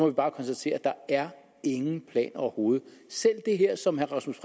vi bare konstatere at der er ingen planer overhovedet selv det her som herre rasmus